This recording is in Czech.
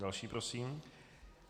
Další prosím.